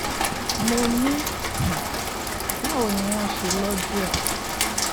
mo ní um báwo ni wọ́n ṣe lọ́jú ẹ̀